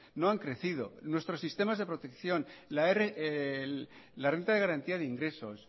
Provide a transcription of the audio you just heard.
no han crecido nuestros sistemas de protección la renta de garantía de ingreso